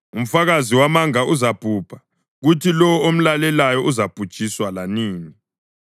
Umfakazi wamanga uzabhubha, kuthi lowo omlalelayo uzabhujiswa lanini.